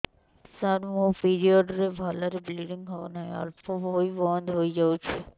ସାର ମୋର ପିରିଅଡ଼ ରେ ଭଲରେ ବ୍ଲିଡ଼ିଙ୍ଗ ହଉନାହିଁ ଅଳ୍ପ ହୋଇ ବନ୍ଦ ହୋଇଯାଉଛି